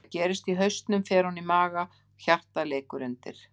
Það sem gerist í hausnum fer ofan í maga og hjartað leikur undir.